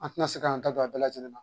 An ti na se k'an da don a bɛɛ lajɛlen na.